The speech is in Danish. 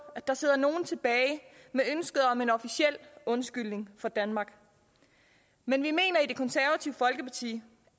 at der sidder nogen tilbage med ønsket om en officiel undskyldning fra danmark men vi mener i det konservative folkeparti